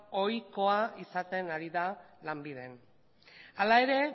ohikoa izaten ari da lanbilden hala ere